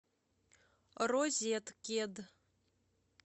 розеткед